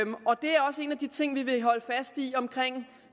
også en af de ting vi vil holde fast i omkring